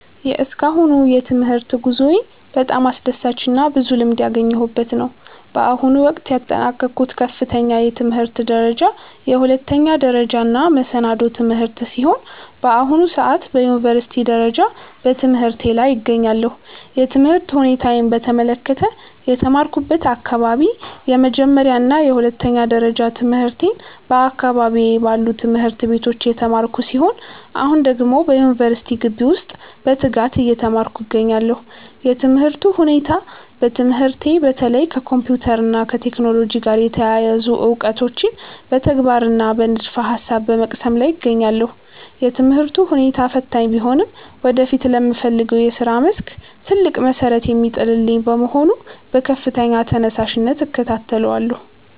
የእስካሁኑ የትምህርት ጉዞዬ በጣም አስደሳችና ብዙ ልምድ ያገኘሁበት ነው። በአሁኑ ወቅት ያጠናቀቅኩት ከፍተኛ የትምህርት ደረጃ የሁለተኛ ደረጃና መሰናዶ ትምህርቴን ሲሆን፣ በአሁኑ ሰዓት በዩኒቨርሲቲ ደረጃ በትምህርቴ ላይ እገኛለሁ። የትምህርት ሁኔታዬን በተመለከተ፦ የተማርኩበት አካባቢ፦ የመጀመሪያና የሁለተኛ ደረጃ ትምህርቴን በአካባቢዬ ባሉ ትምህርት ቤቶች የተማርኩ ሲሆን፣ አሁን ደግሞ በዩኒቨርሲቲ ግቢ ውስጥ በትጋት እየተማርኩ እገኛለሁ። የትምህርቱ ሁኔታ፦ በትምህርቴ በተለይ ከኮምፒውተር እና ከቴክኖሎጂ ጋር የተያያዙ እውቀቶችን በተግባርና በንድፈ-ሐሳብ በመቅሰም ላይ እገኛለሁ። የትምህርቱ ሁኔታ ፈታኝ ቢሆንም ወደፊት ለምፈልገው የሥራ መስክ ትልቅ መሠረት የሚጥልልኝ በመሆኑ በከፍተኛ ተነሳሽነት እከታተለዋለሁ።